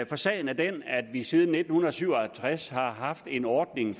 for sagen er den at vi siden nitten syv og halvtreds har haft en ordning